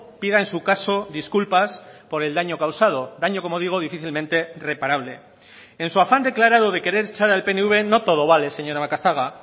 pida en su caso disculpas por el daño causado daño como digo difícilmente reparable en su afán declarado de querer echar al pnv no todo vale señora macazaga